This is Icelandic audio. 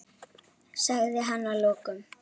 sagði hann að lokum.